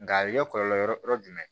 Nka a bɛ kɛ kɔlɔlɔ yɔrɔ jumɛn ye